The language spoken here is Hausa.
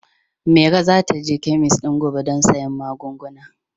Maro za ta je kemis ɗin gobe don sayen magunguna.